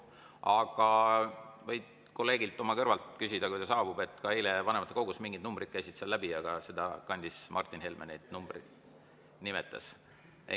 Aga sa võid kõrvalt oma kolleegilt küsida, kui ta saabub, sest ka eile vanematekogus mingid numbrid käisid läbi, Martin Helme neid numbreid nimetas.